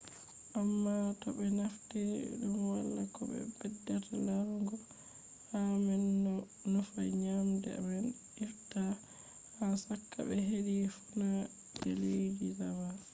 amma to be naftiri dum wala ko beddata larugo hala man do nufa nyamdu man ifta ha chaka be hedi fuuna je leddi java